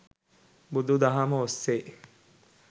බුදු දහම ඔස්සේ